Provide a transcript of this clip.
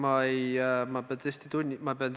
Aitäh!